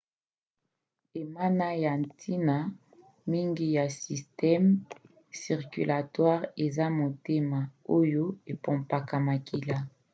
enama ya ntina mingi na systeme circulatoire eza motema oyo epompaka makila